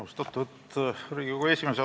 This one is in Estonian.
Austatud Riigikogu esimees!